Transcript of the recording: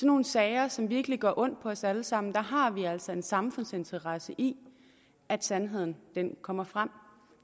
nogle sager som virkelig gør ondt på os alle sammen har vi altså en samfundsinteresse i at sandheden kommer frem